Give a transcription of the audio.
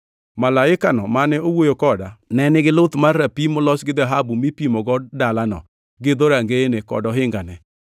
Malaikano mane owuoyo koda, ne nigi luth mar rapim molos gi dhahabu mipimogo dalano, gi dhorangeyene kod ohingane.